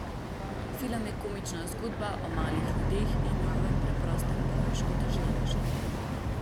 Film je komična zgodba o malih ljudeh in njihovem preprostem boju s škodoželjneži.